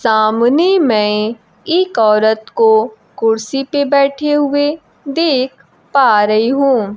सामने मै एक औरत को कुर्सी पे बैठे हुए देख पा रही हूं।